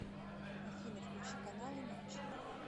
афина включи каналы матч